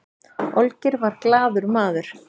olgeir var glaður maður